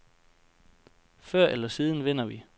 Før eller siden vinder vi.